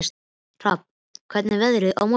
Hrafna, hvernig er veðrið á morgun?